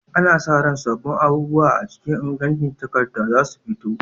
Ana sa ran sabbin abubuwa a cikin ingancin takarda za su fito.